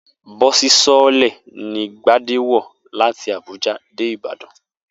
Bó̩ò̩sì so̩ó̩lè̩ ni Gbadé wò̩ láti Àbúja dé Ìbàdàn